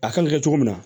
A kan ka kɛ cogo min na